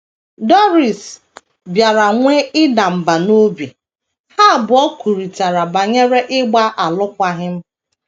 Doris bịara nwee ịda mbà n’obi, ha abụọ kwurịtara banyere ịgba alụkwaghịm.